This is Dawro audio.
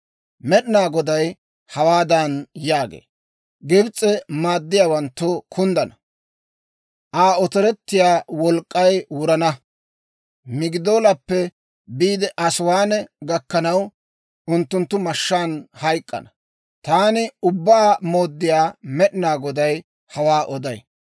« ‹Med'inaa Goday hawaadan yaagee; «Gibs'e maaddiyaawanttu kunddana; Aa otorettiyaa wolk'k'ay wurana. Migidoolappe biide Asiwaane gakkanaw, unttunttu mashshaan hayk'k'ana. Taani Ubbaa Mooddiyaa Med'inaa Goday hawaa oday.